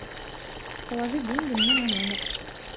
положи деньги мне на номер